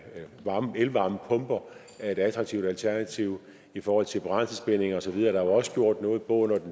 elvarmepumper er et attraktivt alternativ i forhold til brændselsbindinger og så videre er også gjort noget både